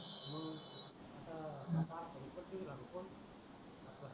हो आता संपती धर पण